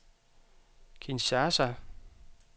Kinshasa